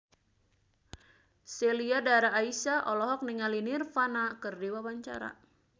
Sheila Dara Aisha olohok ningali Nirvana keur diwawancara